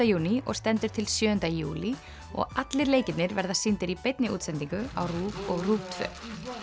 júní og stendur til sjöunda júlí og allir leikirnir verða sýndir í beinni útsendingu á RÚV og RÚV tvö